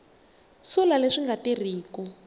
sula leswi swi nga tirhiku